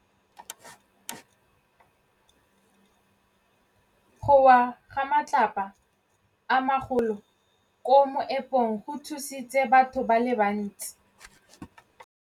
Go wa ga matlapa a magolo ko moepong go tshositse batho ba le bantsi.